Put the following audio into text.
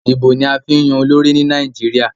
Ìbò ni a fi ń yan olórí ni Nàìjíríà.